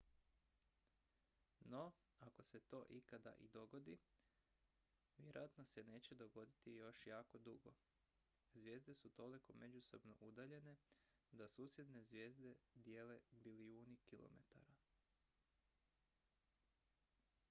"no ako se to ikad i dogodi vjerojatno se neće dogoditi još jako dugo. zvijezde su toliko međusobno udaljene da "susjedne" zvijezde dijele bilijuni kilometara.